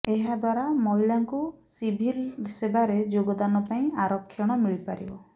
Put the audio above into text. ଏହାଦ୍ବାରା ମହିଳାଙ୍କୁ ସିଭିଲ୍ ସେବାରେ ଯୋଗଦାନ ପାଇଁ ଆରକ୍ଷଣ ମିଳିପାରିବ